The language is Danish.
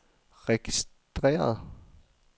registreret